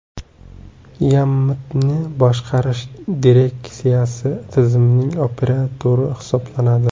YAMMTni boshqarish direksiyasi tizimning operatori hisoblanadi.